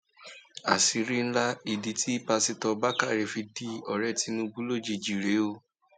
àṣírí ńlá ìdí tí pásítọ bákàrẹ fi dọrẹ tinubu lójijì rèé o